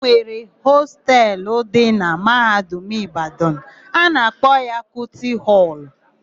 E nwere hostelu dị na Mahadum Ịbadanụ a na-akpọ Kuti họlụ.